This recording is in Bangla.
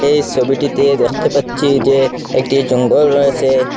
এই ছবিটিতে দেখতে পাচ্ছি যে একটি জঙ্গল রয়েসে ।